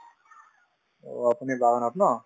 অ, আপুনি বাগানত ন